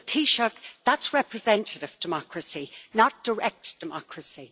But Taoiseach, that is representative democracy, not direct democracy.